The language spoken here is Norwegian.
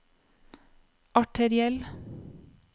arteriell